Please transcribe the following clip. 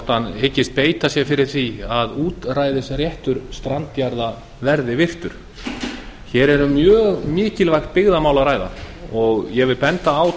hyggst ráðherra beita sér fyrir því að útræðisréttur strandjarða verði virtur að nýju hér er um mjög mikilvægt byggðamál að ræða og ég vil benda á